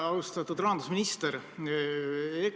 Austatud rahandusminister!